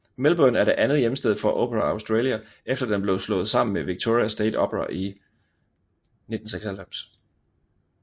Melbourne er det andet hjemsted for Opera Australia efter den blev slået sammen med Victoria State Opera i 1996